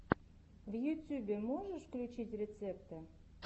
в ютьюбе можешь включить рецепты